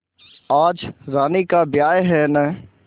आज रानी का ब्याह है न